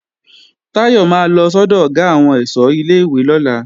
Táyọ̀ máa lọ sọ́dọ̀ Ọ̀gá àwọn ẹ̀ṣọ́ ilé-ìwé lọ́la